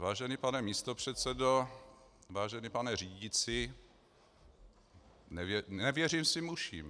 Vážený pane místopředsedo, vážený pane řídící, nevěřím svým uším.